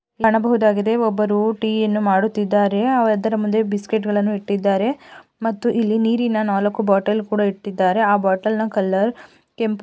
ಕಾಣಬಹುದಾಗಿದೆ ಒಬ್ಬರು ಟೀಯನ್ನು ಮಾಡುತ್ತಿದ್ದಾರೆ ಅದರ ಮುಂದೆ ಬಿಸ್ಕಿಟ್‌ಗಳನ್ನು ಇಟ್ಟಿದ್ದಾರೆ ಮತ್ತು ಇಲ್ಲಿ ನೀರಿನ ನಾಲ್ಕು ಬಾಟಲ್ ಕೂಡ ಇಟ್ಟಿದ್ದಾರೆ ಆ ಬಾಟಲ್ ನ ಕಲರ್ ಕೆಂಪು.